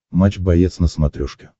матч боец на смотрешке